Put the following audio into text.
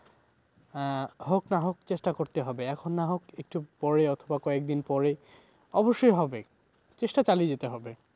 আহ হোক না হোক চেষ্টা করতে হবে। এখন না হোক একটু পরে অথবা কয়েকদিন পরে। অবশ্যই হবে চেষ্টা চালিয়ে যেতে হবে।